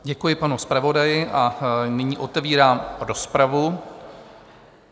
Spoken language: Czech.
Děkuji panu zpravodaji a nyní otevírám rozpravu.